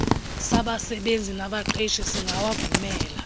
sabasebenzi nabaqeshi singawavumela